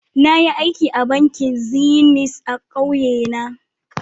Bara na yi aiki a bankin zenith na ƙauye na.